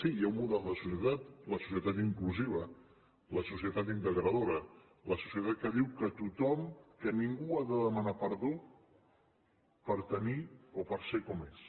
sí hi ha un model de societat la societat inclusiva la societat integradora la societat que diu que ningú ha de demanar perdó per tenir o per ser com és